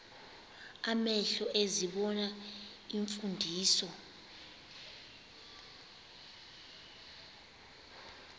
amehlo ezibona iimfundiso